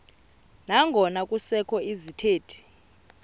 nangona kusekho izithethi